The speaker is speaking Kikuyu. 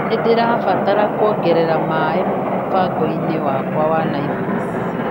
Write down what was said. Nĩndĩrabatara kuongerera maĩ mũbango-ini wakwa wa Naĩvasi.